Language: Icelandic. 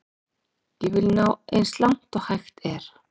Ég vil ná eins langt og hægt er.